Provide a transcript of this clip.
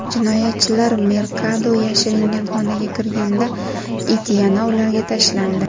Jinoyatchilar Merkado yashiringan xonaga kirganda, it yana ularga tashlandi.